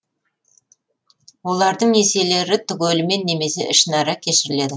олардың несиелері түгелімен немесе ішінара кешіріледі